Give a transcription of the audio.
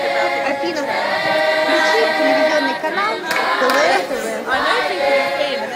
афина включи телевизионный канал квн тв